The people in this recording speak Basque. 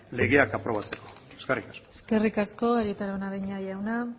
legeak aprobatzeko eskerrik asko eskerrik asko arieta araunabeña jauna